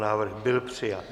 Návrh byl přijat.